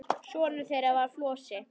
Sonur þeirra var Flosi.